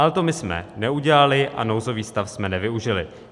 Ale to my jsme neudělali a nouzový stav jsme nevyužili.